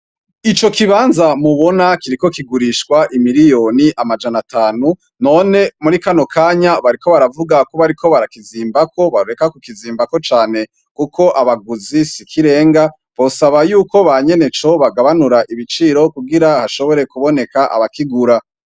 Ico kibanza mubona kiriko kigurishwa amafaranga imirioni amajana atanu, none muri kano kanya bariko bavuga ko bariko barakizimbako, boreka kukizimbako cane kuko abaguzi si ikirenga, bosaba ko banyeneco bagabanura ibiciro kugira bashobore kuboneka abakigura.